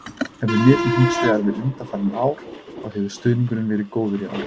Ef við miðum hins vegar við undanfarin ár þá hefur stuðningurinn verið góður í ár.